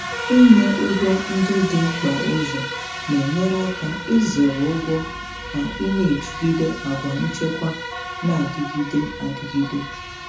Ịnye ụgwọ ndị dị mkpa ụzọ na-enyere aka izere ụgwọ ka ị na-ejigide àgwà nchekwa na-adịgide adịgide.